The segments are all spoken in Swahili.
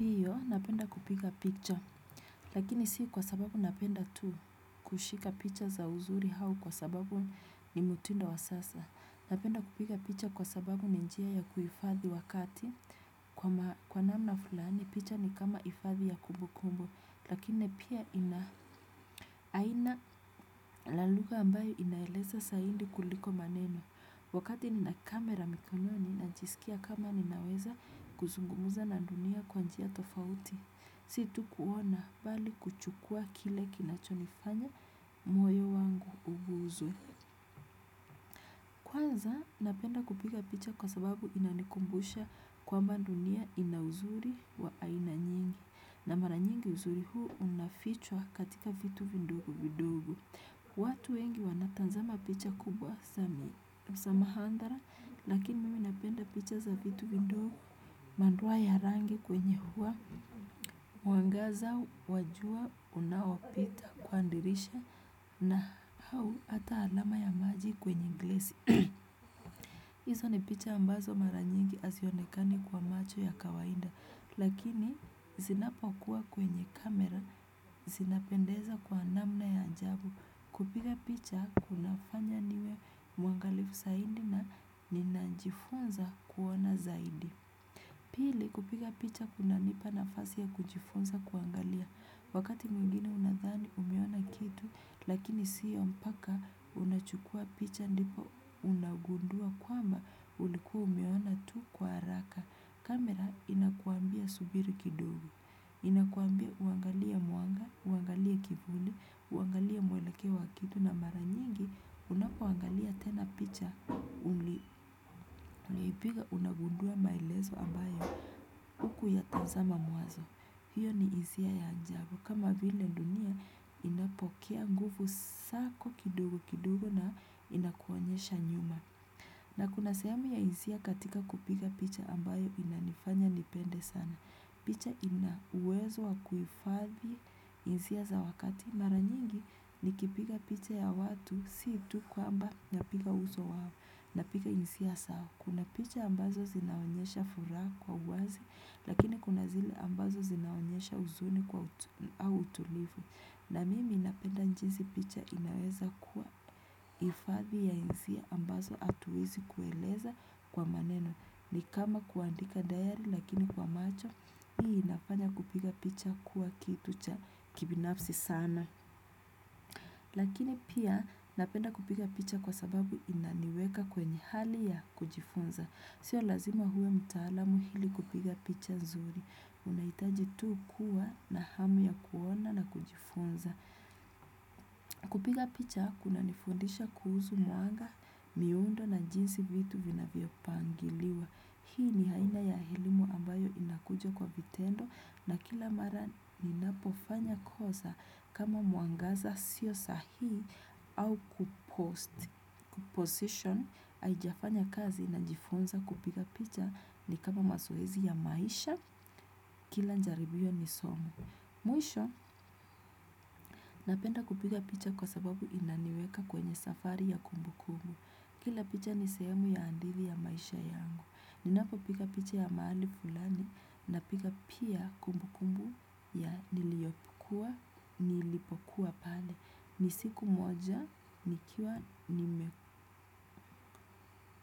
Ndiyo, napenda kupika picha. Lakini si kwa sababu napenda tu kushika picha za uzuri au kwa sababu ni mutindo wa sasa. Napenda kupiga picha kwa sababu ni njia ya kuhifadhi wakati. Kwa namna fulani, picha ni kama hifadhi ya kumbu kumbu. Lakini pia ina aina la lugha ambayo inaeleza saidi kuliko maneno. Wakati nina kamera mikononi najisikia kama ninaweza kuzungumza na dunia kwa njia tofauti. Si tu kuona bali kuchukua kile kinachonifanya mwoyo wangu ubuzu. Kwanza napenda kupiga picha kwa sababu inanikumbusha kwamba dunia ina uzuri wa aina nyingi. Na mara nyingi uzuri huu unafichwa katika vitu vidogo vidogo. Watu wengi wanatazama picha kubwa za muhanga lakini mimi napenda picha za vitu vidogo madoa ya rangi kwenye ua. Mwangaza wa jua unaopita kwa dirisha na au hata alama ya maji kwenye glesi. Hizo ni picha ambazo mara nyingi hazionekani kwa macho ya kawaida. Lakini zinapokuwa kwenye camera, zinapendeza kwa namna ya ajabu. Kupiga picha kunafanya niwe mwangalifu zaidi na ninajifunza kuona zaidi. Pili kupiga picha kunanipa nafasi ya kujifunza kuangalia. Wakati mwingine unadhani umeona kitu lakini siyo mpaka unachukua picha ndipo unagundua kwamba ulikuwa umeona tu kwa haraka. Camera inakwambia subiri kidogo. Inakwambia uangalia mwanga, uangalie kivuli, uangalie mwelekeo wa kitu na mara nyingi unapoangalia tena picha. Uliipiga unagundua maelezo ambayo hukuyatazama mwanzo. Hiyo ni hisia ya ajabu. Kama vile dunia inapokea nguvu zako kidogo kidogo na inakuonyesha nyuma. Na kuna sehemu ya hisia katika kupiga picha ambayo inanifanya nipende sana. Picha ina uwezo wa kuhifadhi hisia za wakati. Mara nyingi nikipiga picha ya watu si tu kwamba napiga uso wao napiga hisia zao. Kuna picha ambazo zinaonyesha furaha kwa uwazi lakini kuna zile ambazo zinaonyesha huzuni kwa utulivu. Na mimi napenda jinsi picha inaweza kuwa hifadhi ya hisia ambazo hatuwezi kueleza kwa maneno. Ni kama kuandika diary lakini kwa macho, hii inafanya kupiga picha kuwa kitu cha kibinafsi sana. Lakini pia napenda kupiga picha kwa sababu inaniweka kwenye hali ya kujifunza. Sio lazima uwe mtaalamu ili kupiga picha nzuri. Unahitaji tu kuwa na hamu ya kuona na kujifunza. Kupiga picha kunanifundisha kuhusu mwanga, miundo na jinsi vitu vinavyopangiliwa. Hii ni aina ya elimu ambayo inakuja kwa vitendo na kila mara ninapofanya kosa kama mwangaza sio sahi au kupost position. Haijafanya kazi najifunza kupiga picha ni kama mazoezi ya maisha kila jaribio ni somo. Mwisho, napenda kupiga picha kwa sababu inaniweka kwenye safari ya kumbukumbu. Kila picha ni sehemu ya hadithi ya maisha yangu. Ninapopiga picha ya mahali fulani napiga pia kumbukumbu ya niliyokuwa, nilipokuwa pale. Ni siku moja, nikiwa,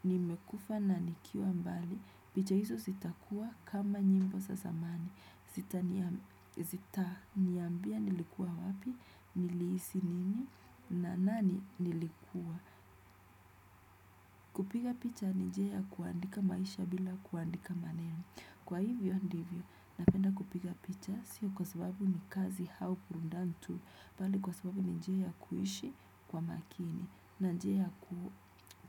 nimekufa na nikiwa mbali. Picha hizo zitakua kama nyimbo za zamani. Zitaniambia nilikuwa wapi, nilihisi nini, na nani nilikuwa. Kupiga picha ni njia ya kuandika maisha bila kuandika maneno. Kwa hivyo ndivyo, napenda kupiga picha sio kwa sababu ni kazi au burudani tu, bali kwa sababu ni njia ya kuishi kwa makini, na njia ya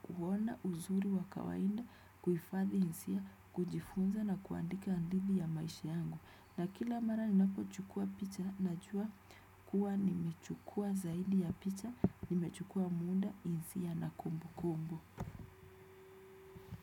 kuona uzuri wa kawaida, kuhifadhi hisia, kujifunza na kuandika hadithi ya maisha yangu. Na kila mara ninapochukua picha, najua kuwa nimechukua zaidi ya picha, nimechukua muda hisia na kumbukumbu.